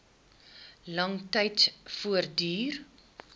lang tyd voortduur